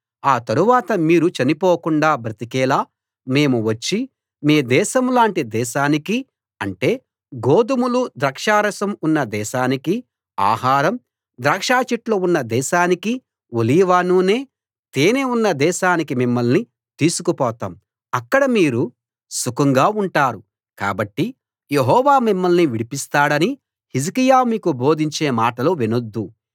ఆ తరువాత మీరు చనిపోకుండా బ్రతికేలా మేము వచ్చి మీ దేశం లాంటి దేశానికీ అంటే గోదుమలు ద్రాక్షారసం ఉన్న దేశానికీ ఆహారం ద్రాక్షచెట్లు ఉన్న దేశానికీ ఒలీవ నూనె తేనె ఉన్న దేశానికీ మిమ్మల్ని తీసుకు పోతాము అక్కడ మీరు సుఖంగా ఉంటారు కాబట్టి యెహోవా మిమ్మల్ని విడిపిస్తాడని హిజ్కియా మీకు బోధించే మాటలు వినొద్దు